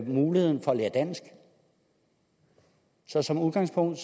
muligheden for at lære dansk så som udgangspunkt